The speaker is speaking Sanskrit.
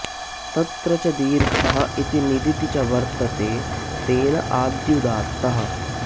तत्र च दीर्घः इति निदिति च वर्तते तेन आद्युदात्तः